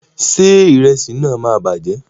Ṣé ìrẹsì náà máa bàjẹ́?